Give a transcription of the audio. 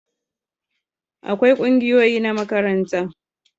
akwai kungiyoyi na makaranta